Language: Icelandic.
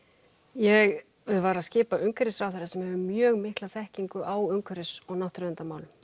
ég var að skipa umhverfisráðherra sem hefur mjög mikla þekkingu á umhverfis og náttúruverndarmálum